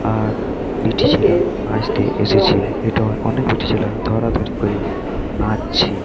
আর বেটি ছেলা নাচতে এসেছে এটা অনেক বেটি ছেলা ধরাধরি করে নাচছে।